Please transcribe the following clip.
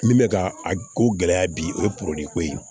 Min bɛ ka a ko gɛlɛya bi o ye ko ye